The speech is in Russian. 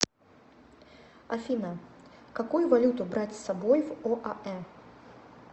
афина какую валюту брать с собой в оаэ